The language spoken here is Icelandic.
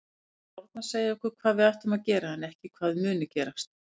Spárnar segja okkur hvað við ættum að gera en ekki hvað muni gerast.